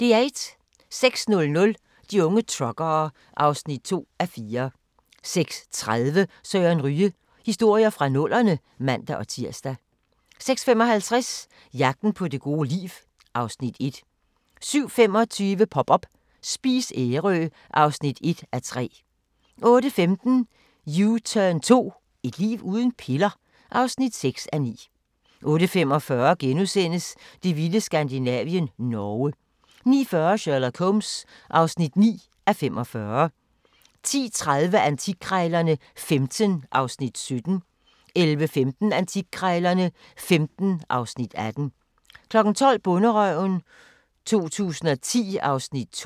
06:00: De unge truckere (2:4) 06:30: Søren Ryge: Historier fra nullerne (man-tir) 06:55: Jagten på det gode liv (Afs. 1) 07:25: Pop up – Spis Ærø (1:3) 08:15: U-turn 2 – et liv uden piller? (6:9) 08:45: Det vilde Skandinavien - Norge * 09:40: Sherlock Holmes (9:45) 10:30: Antikkrejlerne XV (Afs. 17) 11:15: Antikkrejlerne XV (Afs. 18) 12:00: Bonderøven 2010 (Afs. 2)